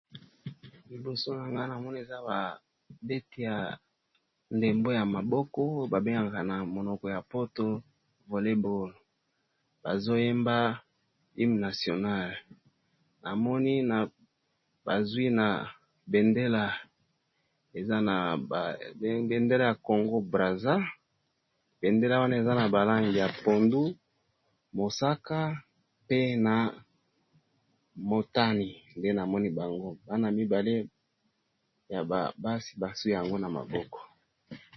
liboso nanga namoni eza babete ya ndembo ya maboko babengaka na monoko ya poto volleboll bazoyeba ime nationale namoni na bazwi na bendela bendela ya congo braser bendela wana eza na balange ya pondu mosaka pe na motani nde namoni bango bana mibale ya babasi baswi yango na maboko